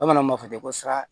Bamananw b'a fɔ ten ko sara